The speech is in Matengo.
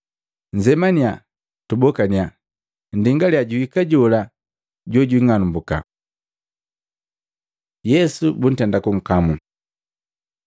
Nnzemaniya, tumbokaniya. Nndingaliya, juhika jola jojing'alumbuka.” Yesu buntenda kunkamu Maluko 14:43-50; Luka 22:47-52; Yohana 18:3-12